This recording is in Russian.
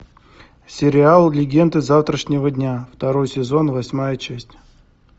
сериал легенды завтрашнего дня второй сезон восьмая часть